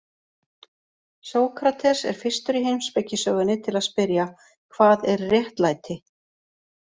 Sókrates er fyrstur í heimspekisögunni til að spyrja: Hvað er réttlæti?